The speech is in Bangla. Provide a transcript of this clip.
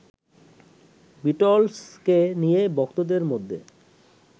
বিটলসকে নিয়ে ভক্তদের মধ্যে